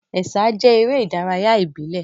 Ẹ̀sà jẹ́ eré ìdárayá ìbílẹ̀.